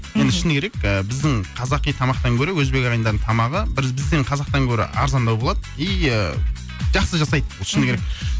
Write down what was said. енді шыны керек ыыы біздің қазақи тамақтан гөрі өзбек ағайындардың тамағы бір біздің қазақтан гөрі арзандау болады и ыыы жақсы жасайды шыны керек